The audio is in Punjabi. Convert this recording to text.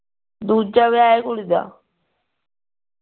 ਦੂਜਾ ਵਿਆਹ ਆ ਕੁੜੀ ਦਾ